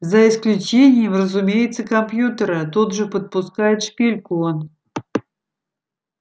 за исключением разумеется компьютера тут же подпускает шпильку он